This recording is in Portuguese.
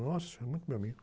Nossa, era muito meu amigo.